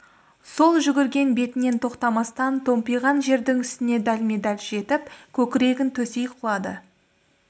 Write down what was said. сол жүгірген бетінен тоқтамастан томпайған жердің үстіне дәлме-дәл жетіп көкірегін төсей құлады